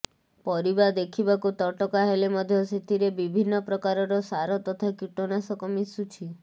ପରିବା ଦେଖିବାକୁ ତଟକା ହେଲେ ମଧ୍ୟ ସେଥିରେ ବିଭିନ୍ନ ପ୍ରକାରର ସାର ତଥା କୀଟନାଶକ ମିଶୁଛି